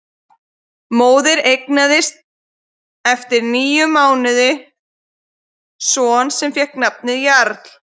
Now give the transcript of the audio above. Móðir eignaðist eftir níu mánuði son sem fékk nafnið Jarl.